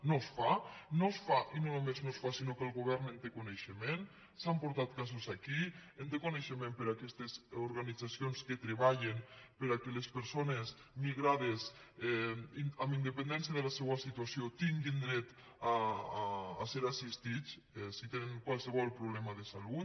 no es fa no es fa i no només no es fa sinó que el govern en té coneixement se n’han portat casos aquí en té coneixement per aquestes organitzacions que treballen perquè les persones migrades amb independència de la seua situació tinguin dret a ser assistides si tenen qualsevol problema de salut